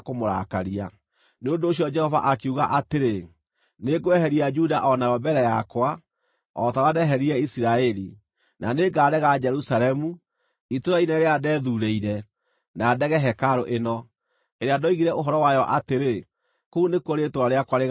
Nĩ ũndũ ũcio Jehova akiuga atĩrĩ, “Nĩngweheria Juda o nayo mbere yakwa, o ta ũrĩa ndeheririe Isiraeli, na nĩngarega Jerusalemu, itũũra inene rĩrĩa ndeethurĩire, na ndege hekarũ ĩno, ĩrĩa ndoigire ũhoro wayo atĩrĩ, ‘Kũu nĩkuo Rĩĩtwa rĩakwa rĩgaatũũra.’ ”